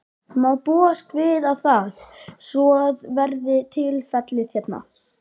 Má búast við að það, svo verði tilfellið hérna?